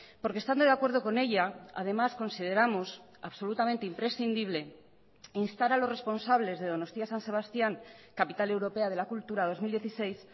porque estando de acuerdo con ella además consideramos absolutamente imprescindible instar a los responsables de donostia san sebastián capital europea de la cultura dos mil dieciséis